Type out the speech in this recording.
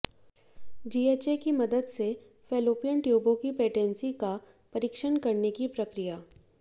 GHA की मदद से फैलोपियन ट्यूबों की पेटेंसी का परीक्षण करने की प्रक्रिया